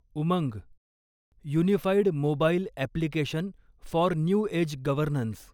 Umang unified mobile application for new age governance